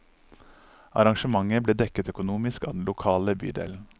Arrangementet ble dekket økonomisk av den lokale bydelen.